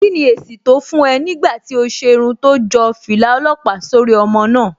Kí ni èsì tó fún ẹ nígbà tí o ṣe irun tó jọ fìlà ọlọ́pàá sórí ọmọ náà?